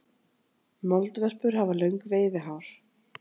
moldvörpur hafa löng veiðihár